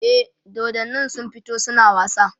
e dodannin sun fito suna wasa